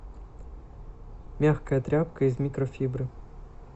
мягкая тряпка из микрофибры